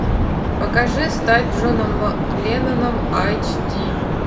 покажи стать джоном ленноном айч ди